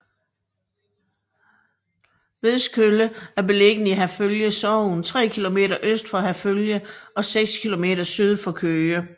Vedskølle er beliggende i Herfølge Sogn tre kilometer øst for Herfølge og seks kilometer syd for Køge